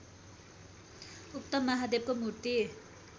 उक्त महादेवको मूर्ति